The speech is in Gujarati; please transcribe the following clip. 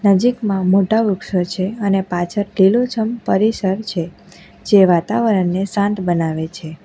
નજીકમાં મોટા વૃક્ષો છે અને પાછળ લીલુંછમ પરિસર છે જે વાતાવરણને શાંત બનાવે છે.